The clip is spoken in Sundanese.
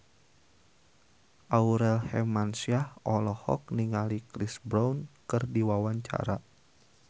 Aurel Hermansyah olohok ningali Chris Brown keur diwawancara